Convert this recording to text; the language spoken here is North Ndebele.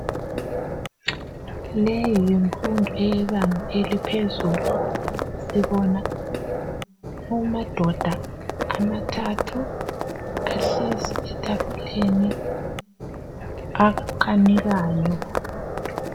Leyi yimfundo eyebanga eliphezulu sibona amadoda amathathu ahlezi etafuleni akanikayo